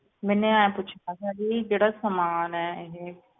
ਮੈਨੇ ਆਏ ਪੁੱਛਣਾ ਸੀ ਜੀ ਜਿਹੜਾ ਸਮਾਨ ਆ ਇਹ,